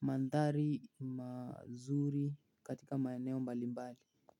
mandhari mazuri katika maeneo mbali mbali.